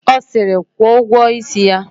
Ọ siri, kwụọ ụgwọ isi ya!